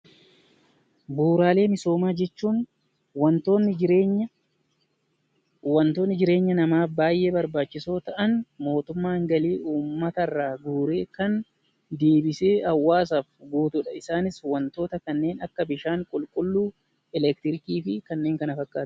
Bu'uuraalee misoomaa jechuun waantonni jireenya namaaf baayyee barbaachisoo ta'an mootummaan galii uummata irraa guureen kan deebisee uummataaf guutudha. Isaanis waantota kanneen akka bishaan qulqulluu, eleektirikii fi kanneen kana fakkaatan.